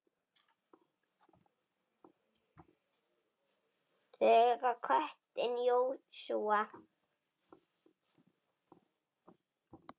Þau eiga köttinn Jósúa.